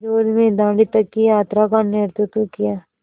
विरोध में दाँडी तक की यात्रा का नेतृत्व किया